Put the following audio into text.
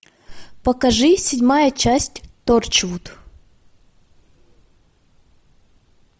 покажи седьмая часть торчвуд